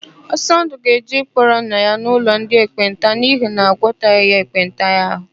Ọsọndụ ga-eje ịkpọrọ nna ya n'ụlọ ndị ekpenta n'ihi na agwọtala ya ekpenta ahụ.